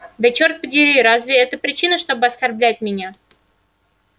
да черт подери разве это причина чтобы оскорблять меня